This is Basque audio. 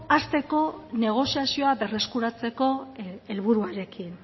hasteko negoziazioa berreskuratzeko helburuarekin